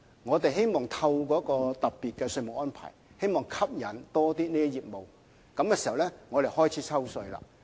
我們希望透過一個特別的稅務安排，吸引更多有關業務，然後開始抽稅。